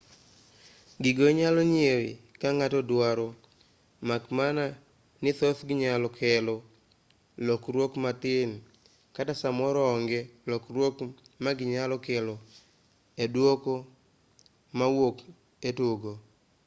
gigo inyalo nyiew kaka ng'ato duaro mak mana ni thothgi nyalo kelo lokruok matin kata samoro onge lokruok ma ginyalo kelo e dwoko mawuok e tugo